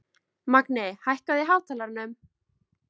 Magni, hækkaðu í hátalaranum.